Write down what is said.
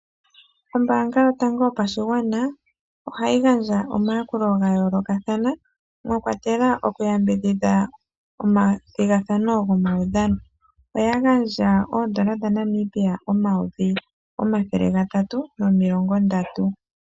Ombaanga yotango yopashigwana, ohayi gandja omayakulo ga yoolokathana, mwa kwatelwa okuyambidhidha omathigathano gomaudhano. Oya gandja oondola dhaNamibia omayovi omathele gatatu nomilongo ntano.